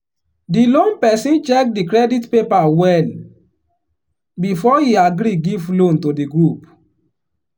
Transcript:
the loan person check the credit paper well before e agree give loan to the group.